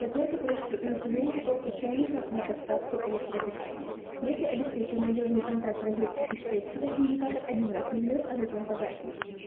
закройте крышку и установите корпус чайника на подставку электропитания если обеспечен надёжный контакт розетки и штепселя индикатор один раз мигнёт а затем погаснет